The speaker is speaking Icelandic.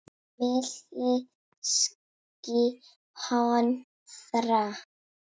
Milli ský- hnoðra.